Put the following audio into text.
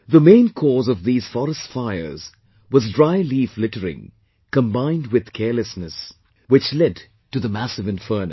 The main cause of these forest fires was dry leaf littering combined with carelessness, which led to the massive inferno